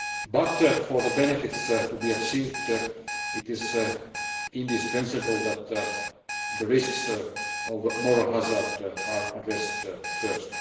But for the benefits to be achieved, it is indispensable that the risks of moral hazard are addressed first.